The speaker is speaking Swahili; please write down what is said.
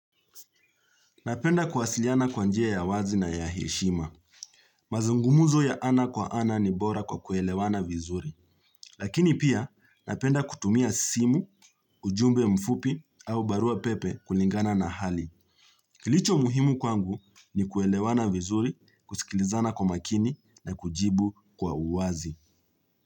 Napenda kuwasiliana kwa njia ya wazi na ya heshima. Mazungumuzo ya ana kwa ana ni bora kwa kuelewana vizuri. Lakini pia napenda kutumia simu, ujumbe mfupi au barua pepe kulingana na hali. Kilicho muhimu kwangu ni kuelewana vizuri, kusikilizana kwa makini na kujibu kwa uwazi.